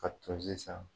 Ka tozi san